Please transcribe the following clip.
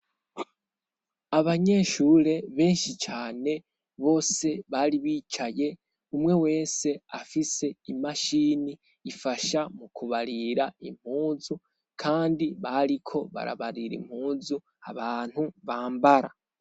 Abanyeshure benshi cane bose bari bicaye umwe wese afise imashini ifasha mu kubarira impuzu kandi bariko barabarira impuzu abantu bambara.